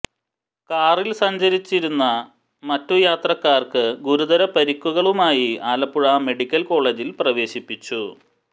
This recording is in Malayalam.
കാറിൽ സഞ്ചരിച്ചിരിച്ചിരുന്ന മറ്റു യാത്രക്കാർക്ക് ഗുരുതര പരിക്കുകളുമായി ആലപ്പുഴ മെഡിക്കൽ കോളേജിൽ പ്രവേശിപ്പിച്ചു